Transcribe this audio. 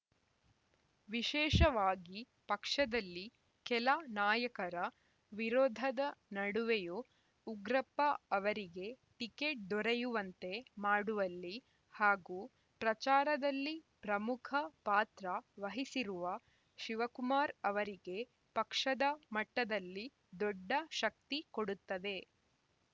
ವಿಶೇಷವಾಗಿ ಪಕ್ಷದಲ್ಲಿ ಕೆಲ ನಾಯಕರ ವಿರೋಧದ ನಡುವೆಯೂ ಉಗ್ರಪ್ಪ ಅವರಿಗೆ ಟಿಕೆಟ್‌ ದೊರೆಯುವಂತೆ ಮಾಡುವಲ್ಲಿ ಹಾಗೂ ಪ್ರಚಾರದಲ್ಲಿ ಪ್ರಮುಖ ಪಾತ್ರ ವಹಿಸಿರುವ ಶಿವಕುಮಾರ್‌ ಅವರಿಗೆ ಪಕ್ಷದ ಮಟ್ಟದಲ್ಲಿ ದೊಡ್ಡ ಶಕ್ತಿ ಕೊಡುತ್ತದೆ